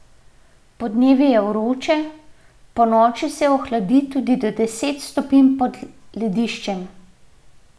Podnevi je vroče, ponoči se ohladi tudi do deset stopinj pod lediščem.